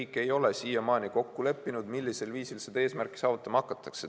Riik ei ole siiamaani kokku leppinud, millisel viisil seda eesmärki saavutama hakatakse.